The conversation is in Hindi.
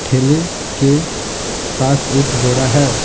ठेले के पास एक बोरा है।